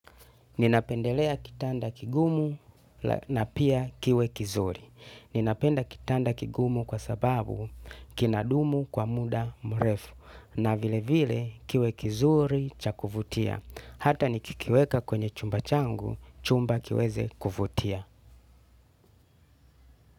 Ninapendelea kitanda kigumu na pia kiwe kizuri. Ninapenda kitanda kigumu kwa sababu kinadumu kwa muda mrefu. Na vilevile kiwe kizuri cha kuvutia. Hata nikikiweka kwenye chumba changu, chumba kiweze kuvutia.